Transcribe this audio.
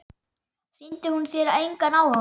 Sýndi hún þér engan áhuga?